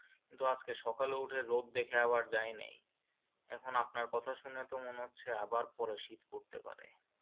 কিন্তু আজকে সকলে উঠে রোদ দেখে আবার যাইনি এখন আপনার কথা শুনে তো মনে হচ্ছে আবার পরে শীত পড়তে পারে।